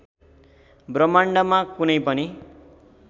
ब्रह्माण्डमा कुनै पनि